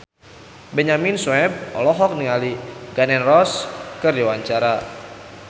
Benyamin Sueb olohok ningali Gun N Roses keur diwawancara